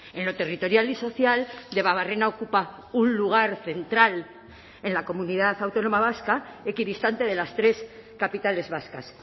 en lo territorial y social debabarrena ocupa un lugar central en la comunidad autónoma vasca equidistante de las tres capitales vascas